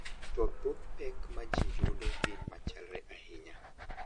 to thoth pek ma ji yudo gin machalre ahinya.